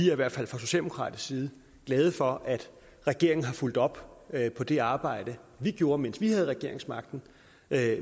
i hvert fald fra socialdemokratisk side glade for at regeringen har fulgt op på det arbejde vi gjorde mens vi havde regeringsmagten med